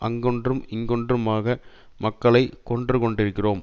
அங்கொன்றும் இங்கொன்றுமாக மக்களை கொன்று கொண்டிருக்கிறோம்